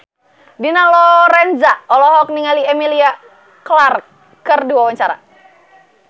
Dina Lorenza olohok ningali Emilia Clarke keur diwawancara